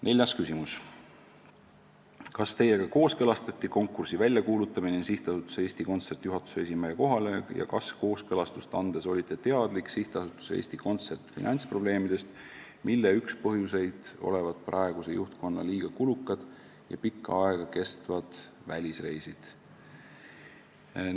Neljas küsimus: "Kas Teiega kooskõlastati konkursi väljakuulutamine SA Eesti Kontsert juhatuse esimehe kohale ja kas kooskõlastust andes olite teadlik SA Eesti Kontsert finantsprobleemidest, mille üks põhjuseid olevat praeguse juhtkonna liiga kulukad ja pikka aega kestvad välisreisid?